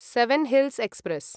seven hills express